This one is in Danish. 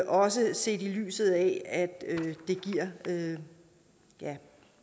også set i lyset af at det giver